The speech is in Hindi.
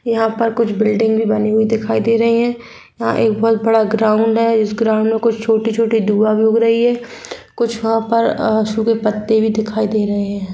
यहाँ पर कुछ बिल्डिंग भी बनी हुई दिखाई दे रही है यहाँ एक बहुत बड़ा ग्राउंड है इस ग्राउंड में कुछ छोटे-छोटे धुआ भी उग रही है कुछ वहां पर अ सूखे पत्ते भी दिखाई दे रहे है।